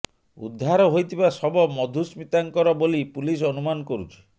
ଉଦ୍ଧାର ହୋଇଥିବା ଶବ ମଧୁସ୍ମିତାଙ୍କର ବୋଲି ପୁଲିସ ଅନୁମାନ କରୁଛି